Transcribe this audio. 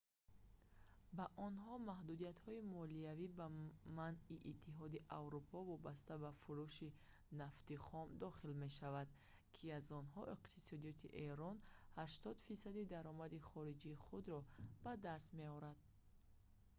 ба онҳо маҳдудиятҳои молиявӣ ва манъи иттиҳоди аврупо вобаста ба фурӯши нафти хом дохил мешавад ки аз онҳо иқтисодиёти эрон 80 фисади даромади хориҷии худро ба даст меорад